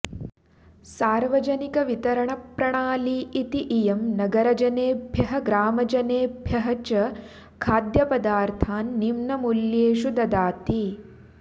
सार्वजनिकवितरणप्रणाली इति इयं नगरजनेभ्यः ग्रामजनेभ्यः च खाद्यपदार्थान् निम्नमूल्येषु ददाति